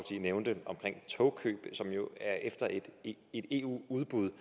nævnte omkring togkøb som jo er efter et eu udbud